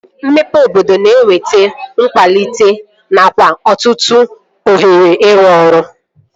Mmepe obodo na-eweta nkwalite nakwa ọtụtụ ohere ịrụ ọrụ